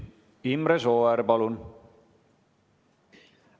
Imre Sooäär, palun!